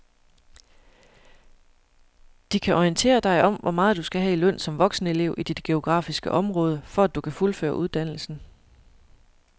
De kan orientere dig om hvor meget du skal have i løn som voksenelev i dit geografiske område, for at du kan fuldføre uddannelsen.